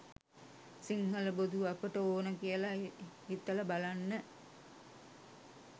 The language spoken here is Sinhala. සිංහල බොදු අපට ඕන කියල හිතල බලන්න.